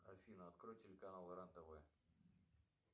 афина открой телеканал рен тв